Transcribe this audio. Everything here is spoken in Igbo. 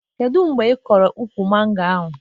Kedụ mgbe ị kụrụ ụkwụ mango ahụ